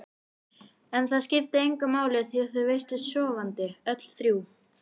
En það skipti engu máli því þau virtust sofandi, öll þrjú.